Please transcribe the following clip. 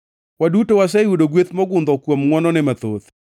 Waduto waseyudo gweth mogundho kuom ngʼwonone mathoth.